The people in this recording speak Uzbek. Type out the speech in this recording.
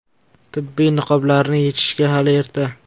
Tibbiy niqoblarni yechishga hali erta.